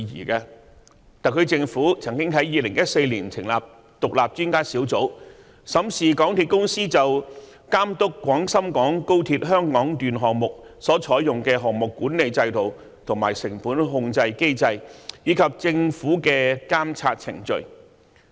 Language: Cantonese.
特區政府曾經在2014年成立獨立專家小組，審視港鐵公司就監督廣深港高速鐵路項目所採用的項目管理制度、成本控制機制，以及政府的監測程序。